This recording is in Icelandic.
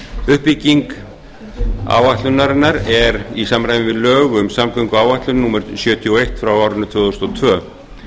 uppbygging áætlunarinnar er í samræmi við lög um samgönguáætlun númer sjötíu og eitt tvö þúsund og tvö